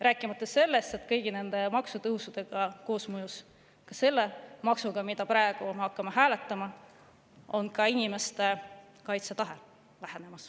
Rääkimata sellest, et kõigi nende maksutõusude koosmõjus, ka selle maksu tõttu, mida me praegu hakkame hääletama, väheneb ka inimeste kaitsetahe.